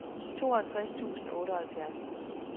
tooghalvtreds tusind og otteoghalvfjerds